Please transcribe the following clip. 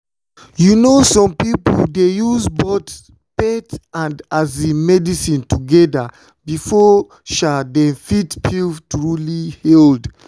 you know some some people dey use both faith and um medicine together before um dem fit feel truly healed.